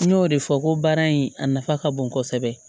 N y'o de fɔ ko baara in a nafa ka bon kosɛbɛ